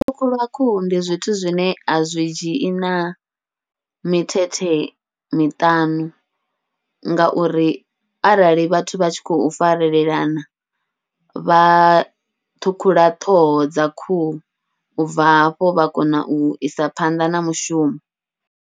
U ṱhukhulu khuhu ndi zwithu zwine a zwi dzhii na mithethe miṱanu, ngauri arali vhathu vha tshi khou farelana vha ṱhukhula ṱhoho dza khuhu, ubva hafho vha kona uisa phanḓa na mushumo.